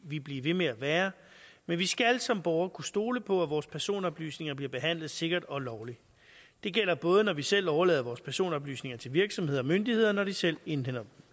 vi blive ved med at være men vi skal som borgere kunne stole på at vores personoplysninger bliver behandlet sikkert og lovligt det gælder både når vi selv overlader vores personoplysninger til virksomheder og myndigheder og når de selv indhentet